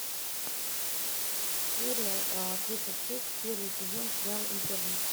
серия тридцать шесть первый сезон сериал интерны